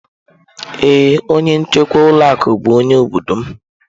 Ee onye nchekwa ụlọ akụ bụ onye obodo m.